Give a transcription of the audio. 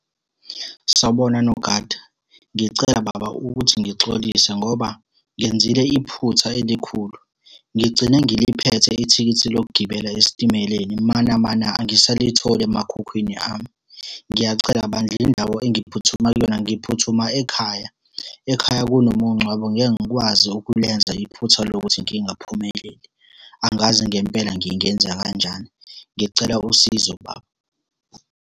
Sawubona, nogada. Ngicela baba ukuthi ngixolise, ngoba ngenzile iphutha elikhulu. Ngigcine ngiliphethe ithikithi lokugibela esitimeleni manamana angisalitholi emakhukhwini ami. Ngiyacela bandla indawo engiphuthuma kuyona ngiphuthuma ekhaya. Ekhaya kunomungcwabo ngeke ngikwazi ukulenza iphutha lokuthi ngingaphumeleli. Angazi ngempela ngingenza kanjani, ngicela usizo baba.